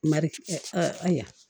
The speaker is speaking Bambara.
Mari ayiwa